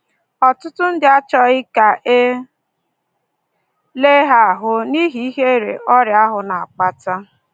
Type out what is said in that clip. Ọtụtụ ndị achọghị ka e lee ha ahụ n’ihi ihere ọrịa ahụ na-akpata